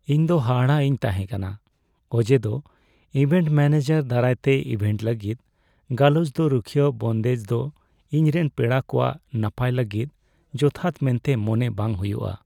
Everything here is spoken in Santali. ᱤᱧ ᱫᱚ ᱦᱟᱦᱟᱲᱟᱜ ᱤᱧ ᱛᱟᱦᱮᱸ ᱠᱟᱱᱟ ᱚᱡᱮᱫᱚ ᱤᱵᱷᱮᱱᱴ ᱢᱮᱹᱱᱮᱡᱟᱨ ᱫᱟᱨᱟᱭᱛᱮ ᱤᱵᱷᱮᱱᱴ ᱞᱟᱹᱜᱤᱫ ᱜᱟᱞᱚᱪ ᱫᱚ ᱨᱩᱠᱷᱤᱭᱟᱹ ᱵᱚᱱᱫᱮᱡ ᱫᱚ ᱤᱧ ᱨᱮᱱ ᱯᱮᱲᱟ ᱠᱚᱣᱟᱜ ᱱᱟᱯᱟᱭ ᱞᱟᱹᱜᱤᱫ ᱡᱚᱛᱷᱟᱛ ᱢᱮᱱᱛᱮ ᱢᱚᱱᱮ ᱵᱟᱝ ᱦᱩᱭᱩᱜᱼᱟ ᱾